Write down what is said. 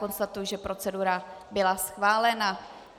Konstatuji, že procedura byla schválena.